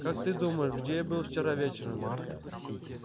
как ты думаешь где я был вчера вечером